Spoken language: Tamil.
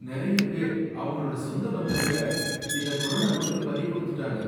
நறைய பேர் அவங்களோட சொந்த பந்தங்கள, இந்த கொரோனா நோய்க்கு பலி கொடுத்துட்டாங்க